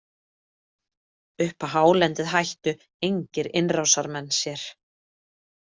Upp á hálendið hættu engir innrásarmenn sér.